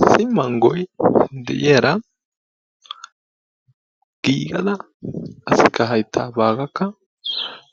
Issi manggoy deiyaara gigada qassikka hayttaa baagaakka